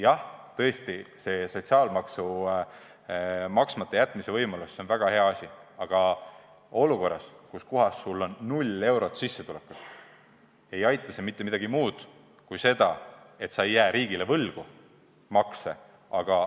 Jah, tõesti, sotsiaalmaksu maksmata jätmise võimalus on väga hea asi, aga olukorras, kus sul on null eurot sissetulekut, ei aita see mitte mingis muus mõttes peale selle, et sa ei jää riigile makse võlgu.